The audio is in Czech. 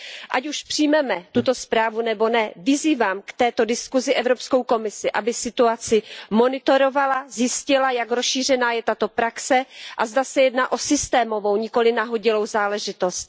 Ať už přijmeme tuto zprávu nebo ne, vyzývám k této diskusi Evropskou komisi, aby situaci monitorovala, zjistila, jak rozšířená je tato praxe a zda se jedná o systémovou, nikoliv nahodilou záležitost.